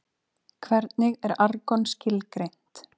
Hvernig er argon skilgreint?